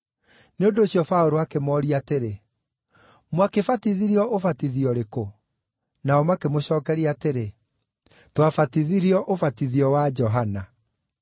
Nĩ ũndũ ũcio Paũlũ akĩmooria atĩrĩ, “Mwakĩbatithirio ũbatithio ũrĩkũ?” Nao makĩmũcookeria atĩrĩ, “Twabatithirio ũbatithio wa Johana.”